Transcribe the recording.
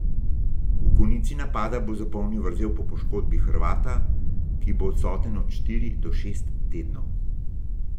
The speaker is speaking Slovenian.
V konici napada bo zapolnil vrzel po poškodbi Hrvata , ki bo odsoten od štiri do šest tednov.